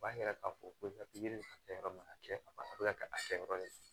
O b'a yira k'a fɔ ko pikiri kɛ yɔrɔ mana kɛ a bɛ ka kɛ a kɛyɔrɔ ye